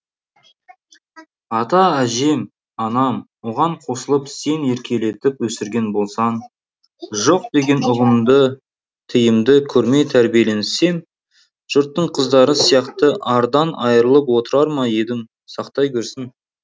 ата әжем анам оған қосылып сен еркелетіп өсірген болсаң жоқ деген ұғымды тыйымды көрмей тәрбиеленсем жұрттың қыздары сияқты ардан айырылып отырар ма едім сақтай көрсін